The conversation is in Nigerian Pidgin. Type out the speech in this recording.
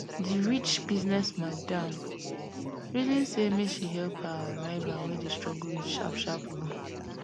di rich business madam reason say make she help her rival wey dey struggle with sharp sharp loan